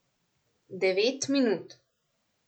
Devet minut.